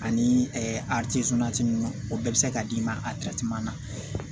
Ani a ninnu o bɛɛ bɛ se ka d'i ma a na